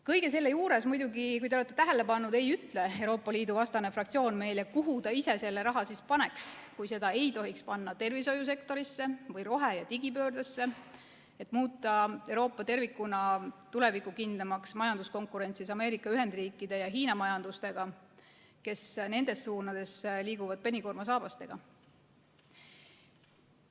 Kõige selle juures, muidugi, kui te olete tähele pannud, ei ütle Euroopa Liidu vastane fraktsioon meile, kuhu ta ise selle raha siis paneks, kui seda ei tohiks panna tervishoiusektorisse või rohe- ja digipöördesse, et muuta Euroopa tervikuna tulevikukindlamaks majanduskonkurentsis Ameerika Ühendriikide ja Hiina majandusega, kes nendes suundades liiguvad penikoormasaabastega.